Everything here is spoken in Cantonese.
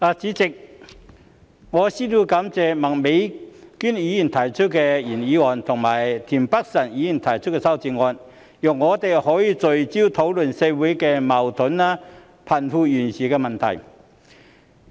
代理主席，我先要感謝麥美娟議員提出原議案，以及田北辰議員提出修正案，讓我們可以聚焦討論社會的矛盾和貧富懸殊問題。